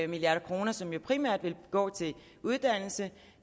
milliard kr som jo primært vil gå til uddannelse